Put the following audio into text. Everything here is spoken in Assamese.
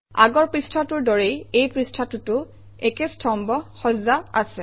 আগৰ পৃষ্ঠাটোৰ দৰেই এই পৃষ্ঠাটোতো একে স্তম্ভ সজ্জা আছে